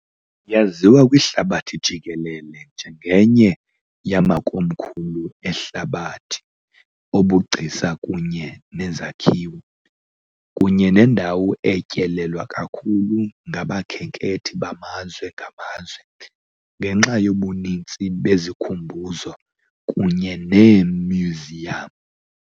Yaziwa kwihlabathi jikelele njengenye yamakomkhulu ehlabathi obugcisa kunye nezakhiwo, kunye nendawo etyelelwa kakhulu ngabakhenkethi bamazwe ngamazwe, ngenxa yobuninzi bezikhumbuzo kunye neemyuziyam.